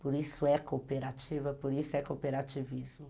Por isso é cooperativa, por isso é cooperativismo.